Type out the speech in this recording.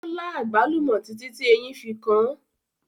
Ó lá àgbálùmọ́ títí tí eyín fi kan án.